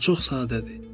O çox sadədir.